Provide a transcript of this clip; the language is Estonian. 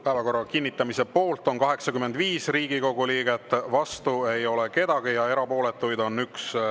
Päevakorra kinnitamise poolt on 85 Riigikogu liiget, vastu ei ole keegi ja erapooletuid on 1.